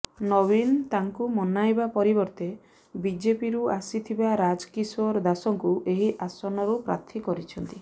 ନବୀନ ତାଙ୍କୁ ମନାଇବା ପରିବର୍ତେ ବିଜେପିରୁ ଆସିଥିବା ରାଜ କିେଶାର ଦାସଙ୍କୁ ଏହି ଆସନରୁ ପ୍ରାର୍ଥୀ କରିଛନ୍ତି